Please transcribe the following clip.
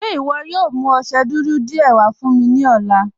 Ṣe iwọ yóò mú ọṣẹ́ dúdú díẹ̀ wà fún mi ni ọ̀lá?